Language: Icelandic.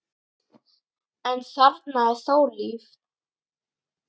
en þarna er þó líf.